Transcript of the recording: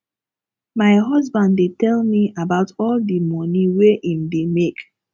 my husband dey tell me about all di moni wey im dey make